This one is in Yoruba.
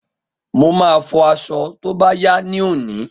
Mo máa fọ aṣọ tó bá yá ní òní